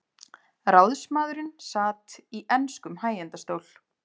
Ráðsmaðurinn sat í enskum hægindastól.